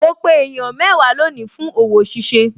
Mo pe èèyàn mẹ́wàá lónìí fún òwò ṣíṣe